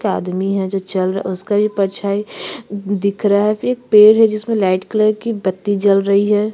एक आदमी है जो चल रहा है उसका ये परछाई दिख रहा है फिर एक पेड़ है जिसमे लाइट कलर की बत्ती जल रही है।